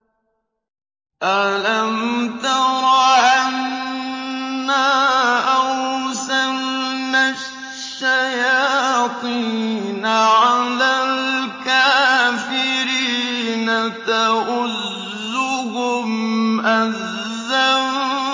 أَلَمْ تَرَ أَنَّا أَرْسَلْنَا الشَّيَاطِينَ عَلَى الْكَافِرِينَ تَؤُزُّهُمْ أَزًّا